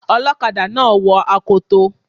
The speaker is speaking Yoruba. Ọlọ́kadà náà wo akoto.